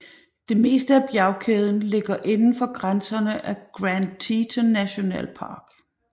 Det meste af bjergkæden ligger inden for grænserne af Grand Teton National Park